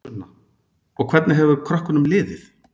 Sunna: Og hvernig hefur krökkunum liðið?